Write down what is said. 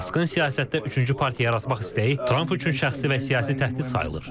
Maskın siyasətdə üçüncü partiya yaratmaq istəyi Tramp üçün şəxsi və siyasi təhdid sayılır.